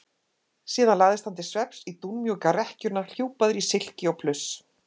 Síðan lagðist hann til svefns í dúnmjúka rekkjuna hjúpaður í silki og pluss.